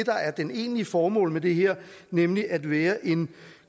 egentlige formål med det her nemlig at være en